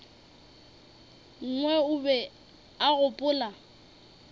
nngwe o be a gopola